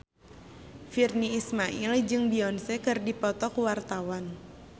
Virnie Ismail jeung Beyonce keur dipoto ku wartawan